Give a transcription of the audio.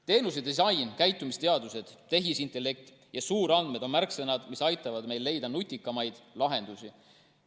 Teenusedisain, käitumisteadused, tehisintellekt ja suurandmed on märksõnad, mis aitavad meil leida nutikamaid lahendusi.